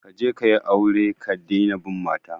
Kaje kayi aure ka dina bin mata